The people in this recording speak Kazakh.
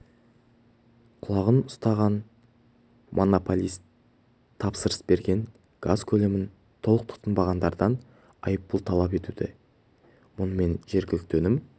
құлағын ұстаған монополист тапсырыс берген газ көлемін толық тұтынбағандардан айыппұл талап етуде мұнымен жергілікті өнім